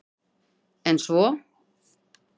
En svo?